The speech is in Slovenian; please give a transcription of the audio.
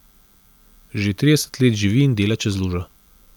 Že trideset let živi in dela čez lužo.